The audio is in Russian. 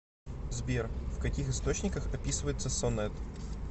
сбер в каких источниках описывается сонет